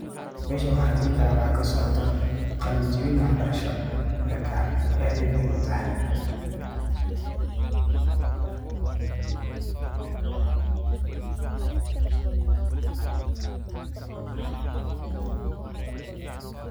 Meshan waxa dehi karah waxa kasocotoh qaalin jibin wax barashoo marka aad Aya muhim u tahay .